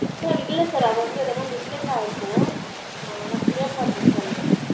Sir இல்ல sir அது வந்து எதுன mistake ஆய்ருகும் நான் clear பன்றென் sir உங்களுக்கு